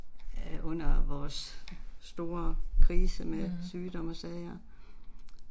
Mh